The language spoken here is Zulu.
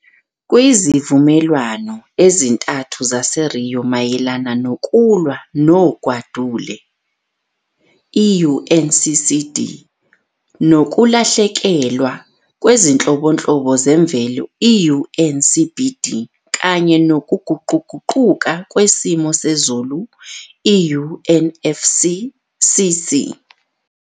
Kwezivumelwano ezintathu zase-Rio mayelana nokulwa nogwadule, i-UNCCD, kulahlekelwa kwezinhlobonhlobo zemvelo, i-UNCBD, kanye nokuguquguquka kwesimo sezulu, UNFCCC.